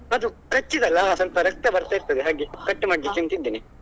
ಅದು ಕಚ್ಚಿದ್ ಅಲ್ಲಾ ಸ್ವಲ್ಪ ರಕ್ತ ಬರ್ತಾ ಇರ್ತದೆ ಹಾಗೆ cut ಮಾಡ್ಬೇಕಂತಿದ್ದೇನೆ.